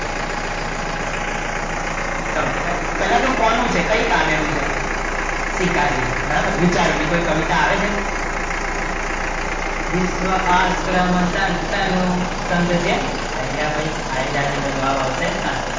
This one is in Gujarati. પહેલા તો કોનું છે કઈ કાવ્ય નું છે સ્વીકારીને બરાબર વિચારો ને કોઈ કવિતા આવે છે વિશ્વ આશ્રમ સંત નું સંઘ છે આર્ય ભાઈ આયે આયી ગયા છે તો જવાબ આવશે, સંઘ